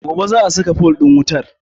Gobe za a saka fol ɗin wutar